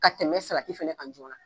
Ka tɛmɛ salati fɛnɛ kan joona.